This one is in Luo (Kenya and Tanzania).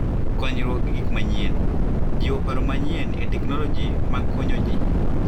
Konyruok gi Gik Manyien: Jiwo paro manyien e teknoloji mag konyo ji.